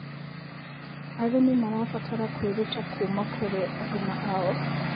Arĩmĩ marabatara kwĩrũta kũma kũrĩ arũna ao